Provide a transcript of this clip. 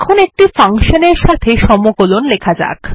এখন একটি ফাংশন এর সাথে সমকলন লেখা যাক